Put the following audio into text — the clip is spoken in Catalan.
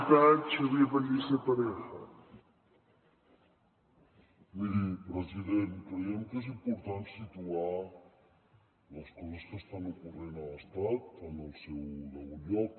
miri president creiem que és important situar les coses que estan ocorrent a l’estat en el seu degut lloc